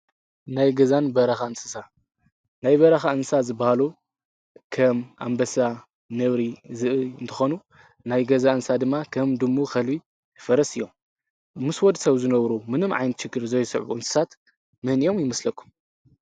ናይ ገዛን በረኻ ንስሳ ናይ በረኻ እንሳ ዝበሃሉ ከም ኣምበሳ ነውሪ ዝኢ እንተኾኑ ናይ ገዛ እንሳ ድማ ከም ድሙ ኸልቢ ፈረስ እዮም ምስ ወድ ሰብ ዝነብሩ ምንም ዓይንቲ ሽክር ዘይስዕዑ እንስሳት ምህን እዮም ይምስለኩ።